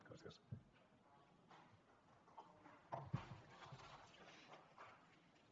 gràcies